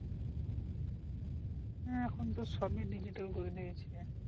হ্যাঁ এখন তো সবই digital করে দিয়েছে